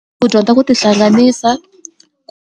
Ku dyondza ku tihlanganisa.